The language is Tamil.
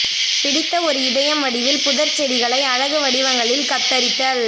பிடித்த ஒரு இதயம் வடிவில் புதர்ச் செடிகளை அழகு வடிவங்களில் கத்தரித்தல்